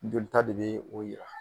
Joli ta de be o yira.